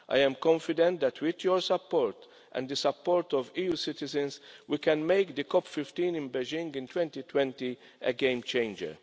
I am confident that with your support and the support of EU citizens, we can make the COP 15 in Beijing in 2020 a game changer.